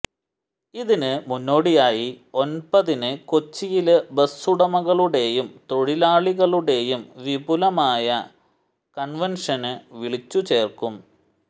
ഇതിന് മുന്നോടിയായി ഒന്പതിന് കൊച്ചിയില് ബസ് ഉടമകളുടെയും തൊഴിലാളികളുടെയും വിപുലമായ കണ്വെന്ഷന് വിളിച്ചുചേര്ക്കും